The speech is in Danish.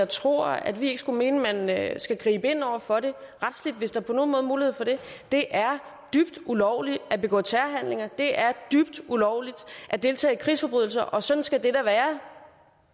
tror at vi ikke skulle mene at skal gribe ind over for det retsligt hvis der på nogen måde er mulighed for det det er dybt ulovligt at begå terrorhandlinger det er dybt ulovligt at deltage i krigsforbrydelser og sådan skal det da være